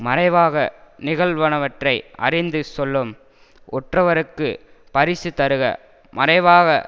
மறைவாக நிகழ்வனவற்றைஅறிந்து சொல்லும் ஒற்றவருக்குப் பரிசு தருக மறைவாக